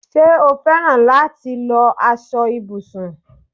Ṣé o féràn láti lọ aṣọ ibùsùn?